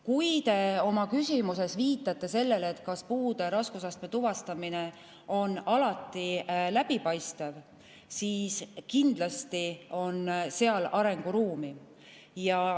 Kui te oma küsimuses viitasite sellele, kas puude raskusastme tuvastamine on alati läbipaistev, siis kindlasti on seal arenguruumi.